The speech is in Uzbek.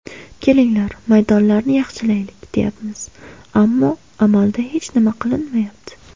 Kelinglar, maydonlarni yaxshilaylik deyapmiz, ammo amalda hech nima qilinmayapti.